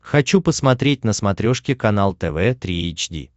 хочу посмотреть на смотрешке канал тв три эйч ди